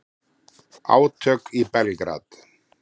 Átök í Belgrad